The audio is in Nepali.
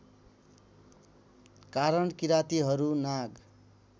कारण किरातीहरू नाग